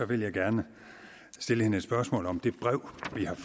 vil jeg gerne stille hende et spørgsmål om det brev